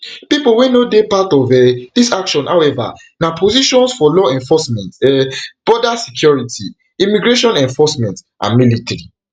pipo wey no dey part of um dis action however na positions for law enforcement um border security immigration enforcement and military